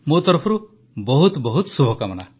ମୋ ତରଫରୁ ବହୁତ ବହୁତ ଶୁଭକାମନା